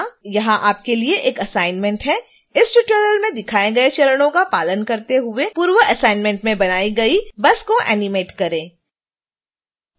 यहां आपके लिए एक असाइनमेंट है इस ट्यूटोरियल में दिखाए गए चरणों का पालन करते हुए पूर्व असाइनमेंट में बनाई गई बस को एनीमेट करें